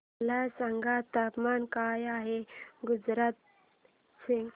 मला सांगा तापमान काय आहे गुजरात चे